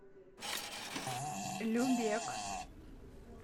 любек